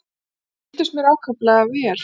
Þau reyndust mér ákaflega vel.